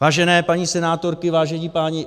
Vážené paní senátorky, vážení páni...